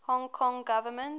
hong kong government